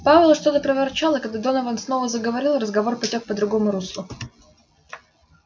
пауэлл что-то проворчал и когда донован снова заговорил разговор потёк по другому руслу